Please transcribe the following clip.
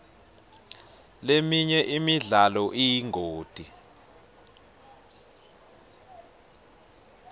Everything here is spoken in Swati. leminye imidlalo iyingoti